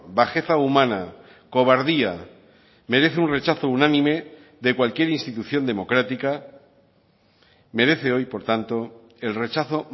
bajeza humana cobardía merece un rechazo unánime de cualquier institución democrática merece hoy por tanto el rechazo